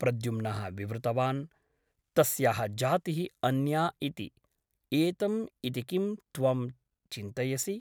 प्रद्युम्नः विवृतवान् । तस्याः जातिः अन्या इति । एतं इति किं त्वं चिन्तयसि ?